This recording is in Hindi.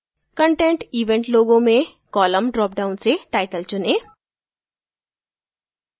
content event logo में column ड्रॉपडाउन से title चुनें